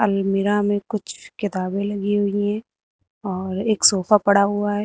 अलमीरा में कुछ किताबें लगी हुई है और एक सोफा पड़ा हुआ है।